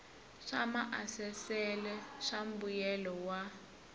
swa maasesele swa mbuyelo wa